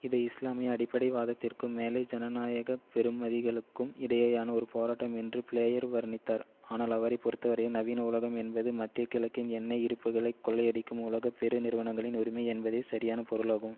இதை இஸ்லாமிய அடிப்படைவாதத்திற்கும் மேலை ஜனநாயக பெறுமதிகளுக்கும் இடையேயான ஒரு போராட்டம் என்று பிளேயர் வர்ணித்தார் ஆனால் அவரை பொறுத்தவரையில் நவீன உலகம் என்பது மத்திய கிழக்கின் எண்ணெய் இருப்புக்களை கொள்ளையடிக்கும் உலக பெரு நிறுவனங்களின் உரிமை என்பதே சரியான பொருளாகும்